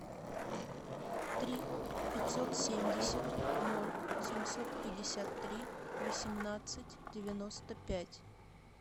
три пятьсот семьдесят ноль семьсот пятьдесят три восемнадцать девяносто пять